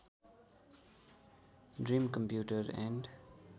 dream computer and